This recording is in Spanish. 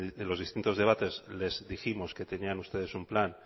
en los distintos debates les dijimos que tenían ustedes un plan